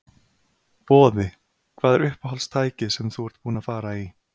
Boði: Hvað er uppáhalds tækið sem þú ert búinn að fara í?